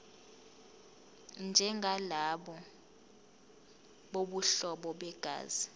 njengalabo bobuhlobo begazi